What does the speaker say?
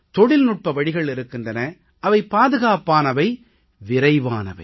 தொழில்நுட்ப வழிகள் இருக்கின்றன அவை பாதுகாப்பானவை விரைவானவை